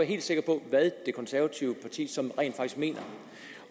helt sikker på hvad det konservative parti sådan rent faktisk mener